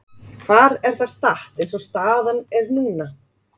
Hvar er það statt eins og staðan er núna?